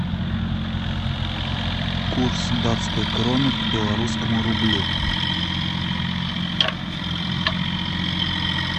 курс датской кроны к белорусскому рублю